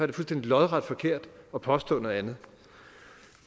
det fuldstændig lodret forkert at påstå noget andet